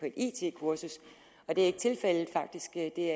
et it kursus og det er ikke tilfældet faktisk er det